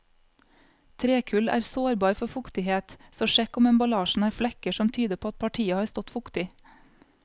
Trekull er sårbar for fuktighet, så sjekk om emballasjen har flekker som tyder på at partiet har stått fuktig.